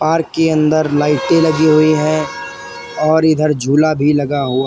park के अंदर लाइटे लगी हुई हैं और इधर झूला भी लगा हुआ--